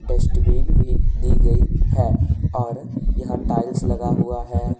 Dustbin भी दी गई है और यहां टाइल्स लगा हुआ है।